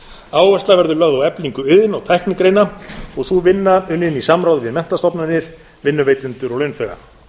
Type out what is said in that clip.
áhersla verður lögð á eflingu iðn og tæknigreina og sú vinna unnin í samráði við menntastofnanir vinnuveitendur og launþega